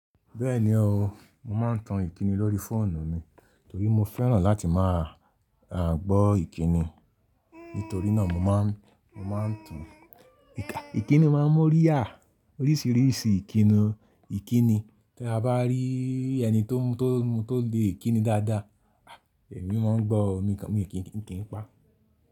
Bẹ́ẹ̀ni o, mo máa ń tan ìkíni lórí fóònù mi torí mo fẹ́ràn láti máa gbọ́ ìkíni. Nítorí náà mo máa ń tan ìkíni máa ń mọ́rí yà oríṣìíríṣìí ìkíni. Tí a bá rí ẹni tó lè kíni dáadáa, èmi máa gbọ́, mo kì í pa.